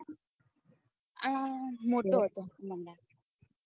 હ મોટો હતો મને લાગે